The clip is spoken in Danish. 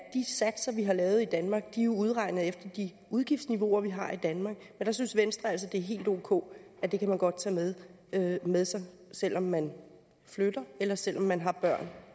satser vi har lavet i danmark er udregnet efter de udgiftsniveauer vi har i danmark men der synes venstre altså at det er helt ok at det kan man godt tage med tage med sig selv om man flytter eller selv om man har børn